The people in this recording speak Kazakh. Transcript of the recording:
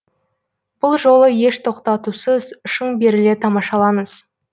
бұл жолы еш тоқтатусыз шын беріле тамашалаңыз